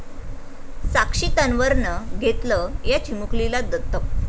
साक्षी तन्वरनं घेतलं या चिमुकलीला दत्तक